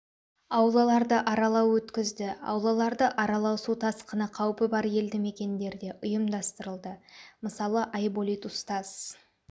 аулаларды аралау өткізді аулаларды аралау су тасқыны қаупі бар елді мекендерде ұйымдастырылды мысалы айболит устаз